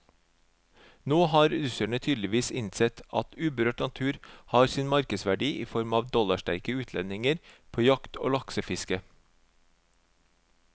Nå har russerne tydeligvis innsett at uberørt natur har sin markedsverdi i form av dollarsterke utlendinger på jakt og laksefiske.